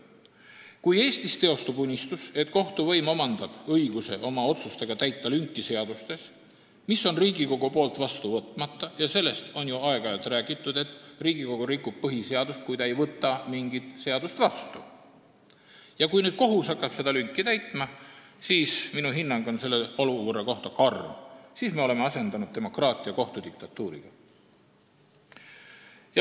Kui Eestis teostub unistus, et kohtuvõim omandab õiguse täita oma otsustega lünki seadustes, mis on Riigikogus vastu võtmata – sellest on ju aeg-ajalt räägitud, et Riigikogu rikub põhiseadust, kui ta ei võta mingit seadust vastu –, siis minu hinnang on sellise olukorra kohta karm: siis me oleme asendanud demokraatia kohtu diktatuuriga.